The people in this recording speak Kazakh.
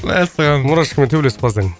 мәссаған мурашкамен төбелесіп қалсаң